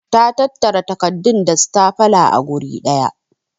Ta tattara takardun da stapler a guri daya.